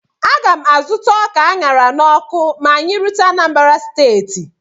A ga m azụta ọka a ṅara n'ọkụ ma anyị rute Anambra steeti